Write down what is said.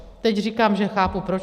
Teď říkám, že chápu proč.